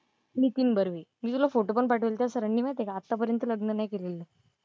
नितीन बर्वे. मी तुला फोटो पण पाठवला होता सरांनी माहिती आहे का आत्तापर्यंत लग्न नाही केलेलं.